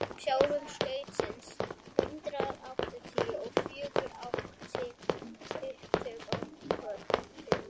skjálftinn sautján hundrað áttatíu og fjögur átti upptök í holtum